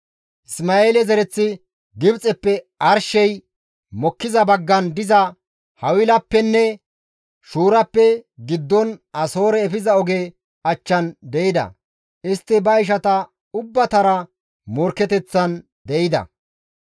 Isma7eele zereththi Gibxeppe arshey mokkiza baggan diza Hawilappenne Shuurappe giddon Asoore efiza oge achchan de7ida. Istti ba ishata ubbatara morkketeththan de7ida.